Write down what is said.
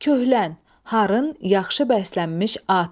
Köhlən, harın, yaxşı bəslənmiş at.